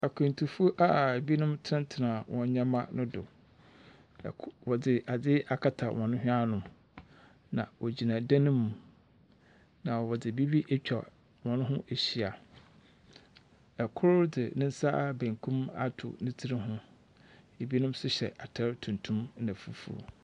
Akwantufoɔ a binom tsenatsena hɔn nyeɛma no do. Ko wɔdze adze akata hɔn hwen ano, na wogyina dan mu, na wɔdze biribi atwa hɔn ho ehyia. Kor dze ne nsa benkum ato ne tsir ho. Ebinom nso hyɛ atar tuntum na fufuw.